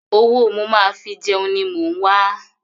Owó mo máa fi jẹun ni mò ń wa.